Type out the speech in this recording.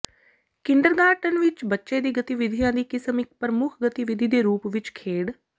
kindergarten ਵਿਚ ਬੱਚੇ ਦੀ ਗਤੀਵਿਧੀਆਂ ਦੀ ਕਿਸਮ ਇੱਕ ਪ੍ਰਮੁੱਖ ਗਤੀਵਿਧੀ ਦੇ ਰੂਪ ਵਿੱਚ ਖੇਡ